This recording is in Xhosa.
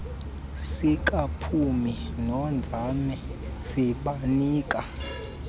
sikaphumi nonzame sibanika